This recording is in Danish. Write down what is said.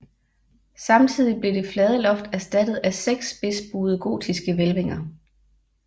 Samtidig blev det flade loft erstattet af 6 spidsbuede gotiske hvælvinger